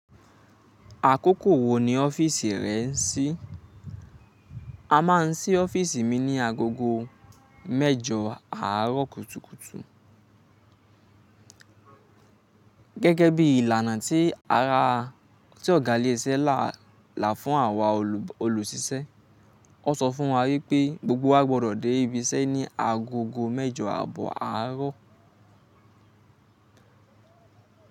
Àkókò wo ni ọ́fíìsì rẹ n sí? A máa n sí ọ́fíìsì mi ní agogo mẹjọ àárọ̀ kùtùkùtù. Gẹ́gẹ́ bí ìlànà tí ara tí ọ̀gá ilé iṣẹ́ là lá fún àwa olùṣiṣẹ́. Ó sọ fún wa wípé gbogbo wa gbọdọ̀ dé ibi iṣẹ́ ní agogo mẹjọ àbọ̀ àárọ̀.